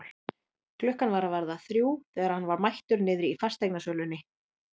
Klukkan var að verða þrjú þegar hann var mættur niðri í fasteignasölunni.